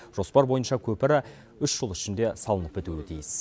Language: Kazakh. жоспар бойынша көпірі үш жыл ішінде салынып бітуі тиіс